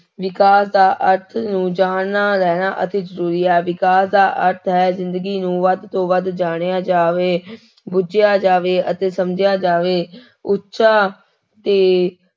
ਵਿਕਾਸ ਦਾ ਅਰਥ ਨੂੰ ਜਾਣਨਾ ਰਹਿਣਾ ਅਤਿ ਜ਼ਰੂਰੀ ਹੈ, ਅਧਿਕਾਰ ਦਾ ਅਰਥ ਹੈ ਜ਼ਿੰਦਗੀ ਨੂੰ ਵੱਧ ਤੋਂ ਵੱਧ ਜਾਣਿਆ ਜਾਵੇ ਬੁਝਿਆ ਜਾਵੇ ਅਤੇ ਸਮਝਿਆ ਜਾਵੇ ਉੱਚਾ ਤੇ